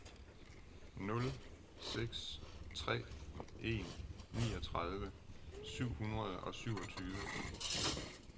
nul seks tre en niogtredive syv hundrede og syvogtyve